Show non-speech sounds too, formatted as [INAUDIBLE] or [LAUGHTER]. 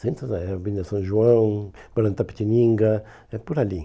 Centro da, [UNINTELLIGIBLE] Avenida São João, Branco da Petininga, é por ali.